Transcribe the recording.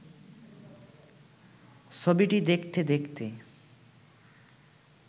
ছবিটি দেখতে দেখতে